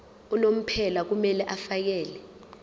unomphela kumele afakele